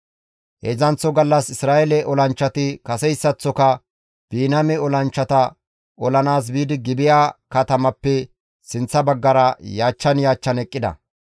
Heedzdzanththo gallas Isra7eele olanchchati kaseyssaththoka Biniyaame olanchchata olanaas biidi Gibi7a katamappe sinththa baggara yaachchan yaachchan eqqida.